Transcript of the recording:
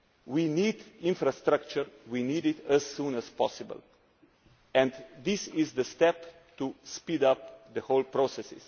We need infrastructure. We need it as soon as possible. This is the step to speed up the whole process.